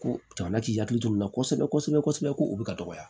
Ko jamana k'i hakili t'o la kosɛbɛ kosɛbɛ ko o bɛ ka dɔgɔya